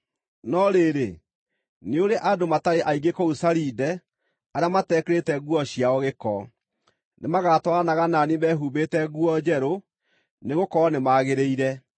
No rĩrĩ, nĩ ũrĩ andũ matarĩ aingĩ kũu Saride arĩa matekĩrĩte nguo ciao gĩko. Nĩmagatwaranaga na niĩ mehumbĩte nguo njerũ, nĩgũkorwo nĩmagĩrĩire.